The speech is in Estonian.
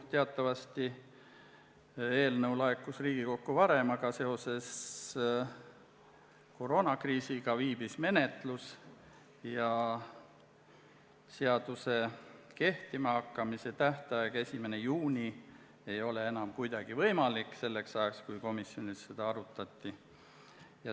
Teatavasti laekus eelnõu Riigikokku varem, aga koroonakriisi tõttu viibis menetlus ja seaduse kehtima hakkamise tähtaeg 1. juuni ei olnud enam kuidagi võimalik selleks ajaks, kui komisjonis seda arutati.